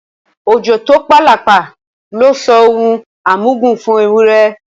Òjò tó p’àlàpà ló sọ ọ d’ohun àmúgùn f’éwúrẹ